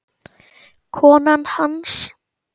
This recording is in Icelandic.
Konan hans?